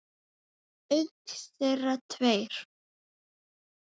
Auk þeirra tveir